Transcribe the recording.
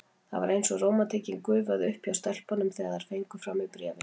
Það var eins og rómantíkin gufaði upp hjá stelpunum, þegar þær fengu frá mér bréfin.